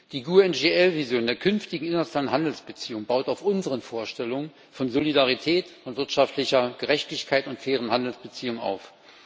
Die GUE NGL Vision der künftigen internationalen Handelsbeziehungen baut auf unseren Vorstellungen von Solidarität, von wirtschaftlicher Gerechtigkeit und fairen Handelsbeziehungen auf.